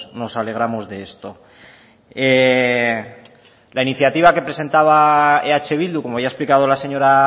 nos alegramos de esto la iniciativa que presentaba eh bildu como ya ha explicado la señora